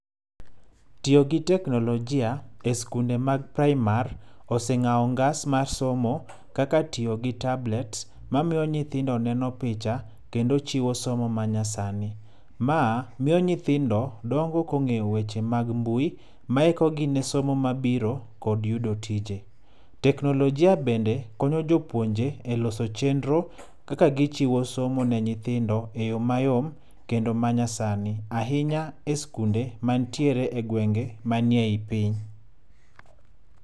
Tiyo gi teknolojia, e skunde mag praimar, oseng'awo ngas ma somo, kaka tiyo gi tablet, mamiyo nyithindo neno picha, kendo chiwo somo manyasani. Ma miyo nyithindo, dongo kong'eyo weche mag mbui maikogi ne somo mabiro, kod yudo tije. Teknolojia bende konyo jopuonje e loso chenro, kaka gichiwo somo ne nyithindo e yo mayom kendo manyasani. Ahinya e skunde mantiere e gwenge manie i piny.